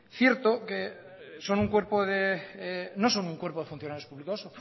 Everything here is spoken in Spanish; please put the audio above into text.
cierto que no son un cuerpo de funcionarios públicos